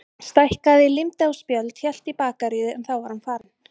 Stækkaði, límdi á spjöld, hélt í bakaríið en þá var hún farin.